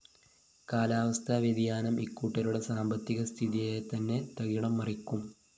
കാലാവസ്ഥാ വ്യതിയാനം ഇക്കൂട്ടരുടെ സാമ്പത്തിക സ്ഥിതിയെതന്നെ തകിടംമറിക്കും